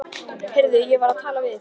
Heyrðu, ég var að tala við